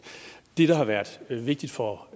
det der har været vigtigt for